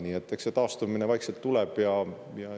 Nii et eks see taastumine vaikselt tuleb.